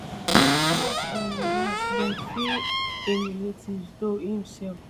las um las dem free im relatives though im sell